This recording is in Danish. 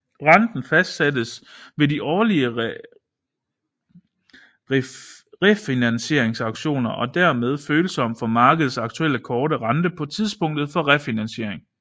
Renten fastsættes ved de årlige refinansieringsauktioner og er dermed følsom for markedets aktuelle korte rente på tidspunktet for refinansiering